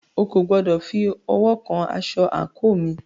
O kò gbọdọ̀ fi ọwọ́ kan asọ àńkò mi!